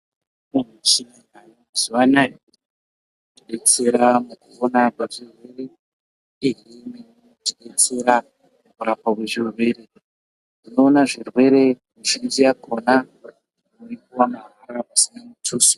Michina yaayo mazuwa anaya yodetsera antu kupona kuzvirwere uyezve imweni inodetsera kurapwa kwezvirwere tinoona zvirwere, mitombo mizhinji yakhona toyipuwa mahara pasina mutuso.